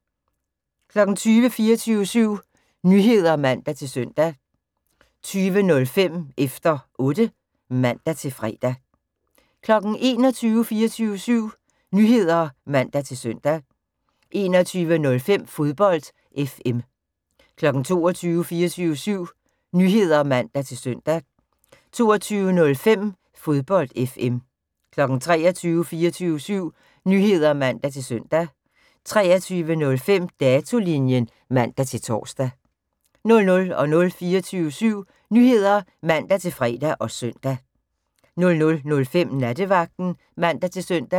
20:00: 24syv Nyheder (man-søn) 20:05: Efter Otte (man-fre) 21:00: 24syv Nyheder (man-søn) 21:05: Fodbold FM 22:00: 24syv Nyheder (man-søn) 22:05: Fodbold FM 23:00: 24syv Nyheder (man-søn) 23:05: Datolinjen (man-tor) 00:00: 24syv Nyheder (man-fre og søn) 00:05: Nattevagten (man-søn)